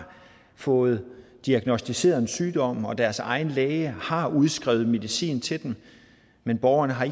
fået diagnosticeret en sygdom og deres egen læge har udskrevet medicin til dem men borgerne har